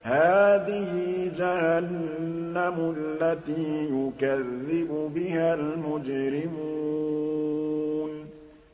هَٰذِهِ جَهَنَّمُ الَّتِي يُكَذِّبُ بِهَا الْمُجْرِمُونَ